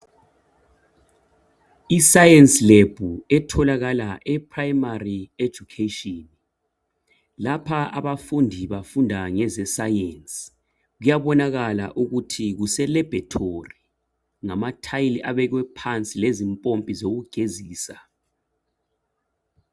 I"science lab" etholakala e"primary education" .Lapha abafundi bafunda ngeze "science".Kuyabonakala ukuthi kuselabhorethi ngamathayili abekwe pnansi lezimpompi zokugezisa.